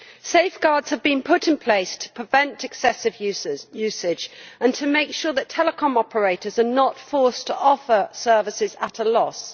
Safeguards have been put in place to prevent excessive usage and to make sure that telecom operators are not forced to offer services at a loss.